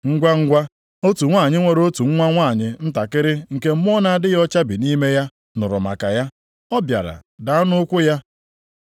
Ngwangwa, otu nwanyị nwere otu nwa nwanyị ntakịrị nke mmụọ na-adịghị ọcha bi nʼime ya nụrụ maka ya, ọ bịara daa nʼụkwụ ya.